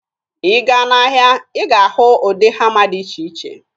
Ị gaa n'ahịa, ị ga-ahụ ụdị hama dị iche iche.